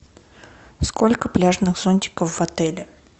сколько пляжных зонтиков в отеле